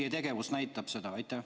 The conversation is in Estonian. Teie tegevus näitab, et te seda plaanite.